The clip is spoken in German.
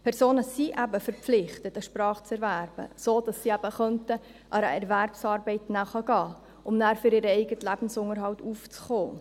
Die Personen sind eben verpflichtet, Kenntnisse einer Sprache zu erwerben, sodass sie eben einer Erwerbsarbeit nachgehen könnten, um nachher für ihren eigenen Lebensunterhalt aufzukommen.